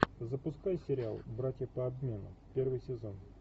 запускай сериал братья по обмену первый сезон